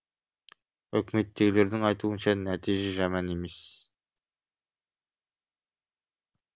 үкіметтегілердің айтуынша нәтиже жаман емес